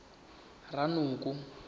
ranoko